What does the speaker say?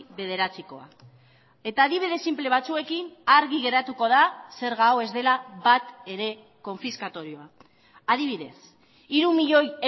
bederatzikoa eta adibide sinple batzuekin argi geratuko da zerga hau ez dela batere konfiskatorioa adibidez hiru milioi